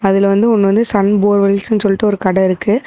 அதுல வந்து ஒன்னு வந்து சன் போரெவெல்ஸ்னு சொல்டு ஒரு கட இருக்கு.